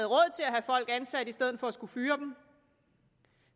folk ansat i stedet for at skulle fyre dem